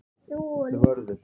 Vörður